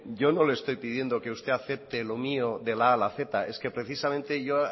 yo no le estoy pidiendo que usted acepte lo mío de la a a la z es que precisamente yo